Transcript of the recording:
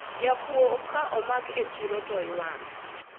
jakuwo ka omak e chiro to iwango